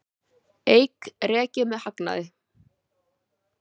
Eik rekið með hagnaði